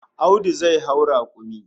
Audu zai hau rakumi